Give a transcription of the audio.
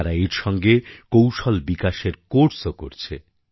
তারা এর সঙ্গে কৌশল বিকাশের কোর্সও করছে